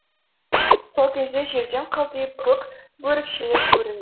сол кезде жерден қылтиып көк бөрікшелер көрінді